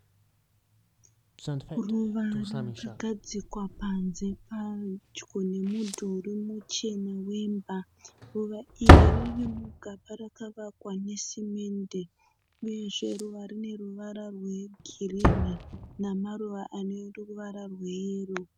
Ruva rakagadzikwa panze padyo nemudhuri muchena wemba. Ruva iri riri mugaba rakavakwa nesimende uyezve ruva iri rine ruvara rwegirinhi namaruva ane ruvara rweyero.